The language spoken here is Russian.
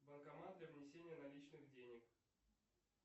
банкомат для внесения наличных денег